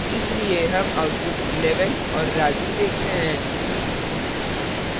इसलिए हम output 11 और raju देखते हैं